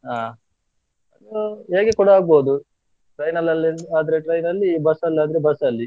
ಅಹ್, ಅ ಹೇಗೆ ಕೂಡ ಆಗ್ಬೋದು train ಅಲ್ಲಿ ಆದ್ರೆ train ಅಲ್ಲಿ bus ಅಲ್ಲಿ ಆದ್ರೆ bus ಅಲ್ಲಿ.